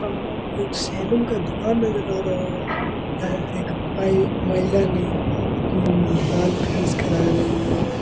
हम लोग एक सैलून का दुकान नजर आ रहा है महिला ने अम बाल फिनिश करा रही है।